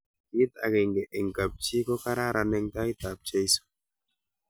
kit akenge eng' kap chi ko kararan eng tai ab cheso